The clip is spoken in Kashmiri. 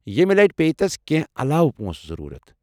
ییٚمہِ لٹہِ پیٚیہِ تس کٮ۪نٛہہ علاوٕ پونٛسہٕ ضوٚرتھ ۔